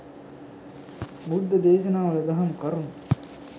බුද්ධ දේශනාවල දහම් කරුණු